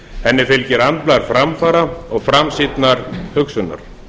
henni fylgir andblær framfara og framsýnnar hugsunar